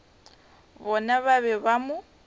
bona ba be ba mo